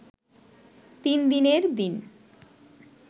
তিনদিনের দিন